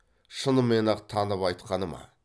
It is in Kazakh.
шынымен ақ танып айтқаны ма